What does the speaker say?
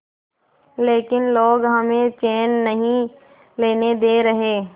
लेकिन लोग हमें चैन नहीं लेने दे रहे